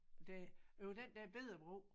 Det det var den der bette bro